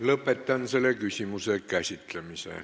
Lõpetan selle küsimuse käsitlemise.